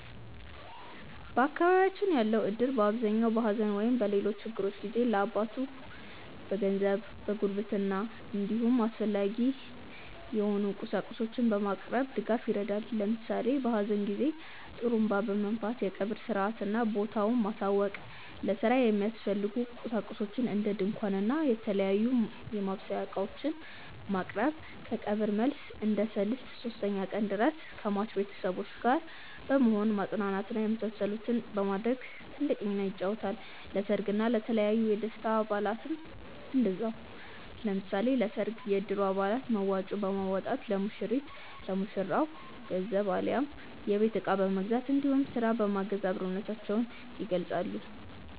በአካባቢያችን ያለው እድር በአብዛኛው በሐዘን ወይም በሌሎች ችግሮች ጊዜ ለአባላቱ በገንዘብ፣ በጉርብትና እንዲሁም አስፈላጊ የሆኑ ቁሳቁሶችን በማቅረብ ድጋፍ ያደርጋል። ለምሳሌ በሀዘን ጊዜ ጡሩንባ በመንፋት የቀብር ሰአትና ቦታውን ማሳወቅ፣ ለስራ የሚያስፈልጉ ቁሳቁሶችን እንደ ድንኳን እና የተለያዩ የማብሰያ እቃዎችን ማቅረብ፣ ከቀብር መልስ እስከ ሰልስት (ሶስተኛ ቀን) ድረስ ከሟች ቤተሰቦች ጋር በመሆን ማፅናናት እና የመሳሰሉትን በማድረግ ትልቅ ሚናን ይጫወታል። ለሰርግ እና የተለያዩ የደስታ በአላትም እንደዛው። ለምሳሌ ለሰርግ የእድሩ አባላት መዋጮ በማዋጣት ለሙሽሪት/ ለሙሽራው ገንዘብ አሊያም የቤት እቃ በመግዛት እንዲሁም ስራ በማገዝ አብሮነታቸውን ይገልፃሉ።